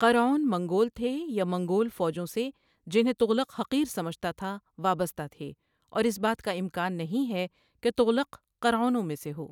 قرعون منگول تھے یا منگول فوجوں سے، جنھیں تغلق حقیر سمجھتا تھا، وابستہ تھے، اور اس بات کا امکان نہیں ہے کہ تغلق قرعونوں میں سے ہو۔